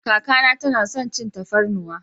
Kaka na ta na son cin tafarnuwa.